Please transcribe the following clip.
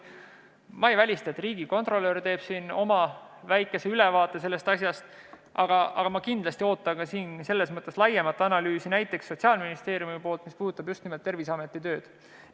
Ma ei välista, et riigikontrolör teeb oma väikese ülevaate, aga kindlasti ootan ma ka laiemat analüüsi, näiteks Sotsiaalministeeriumilt, mis puudutaks just nimelt Terviseameti tööd.